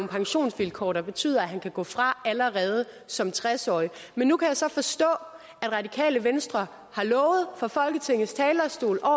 pensionsvilkår der betyder at han kan gå fra allerede som tres årig men nu kan jeg så forstå at radikale venstre fra folketingets talerstol har